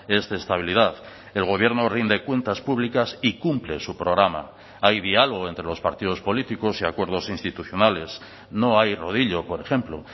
es de estabilidad el gobierno rinde cuentas públicas y cumple su programa hay diálogo entre los partidos políticos y acuerdos institucionales no hay rodillo por ejemplo